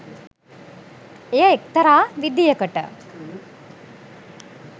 එය එක්තරා විධියකට